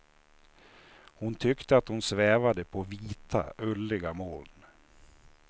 Hon tyckte att hon svävade på vita, ulliga moln.